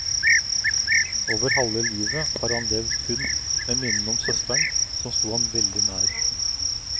Over halve livet har han levd kun med minnene om søsteren, som sto ham veldig nær.